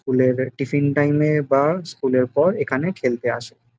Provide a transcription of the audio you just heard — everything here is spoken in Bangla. মেয়েদের টিফিন টাইম এ বা স্কুল এর পর এখানে খেলতে আসে।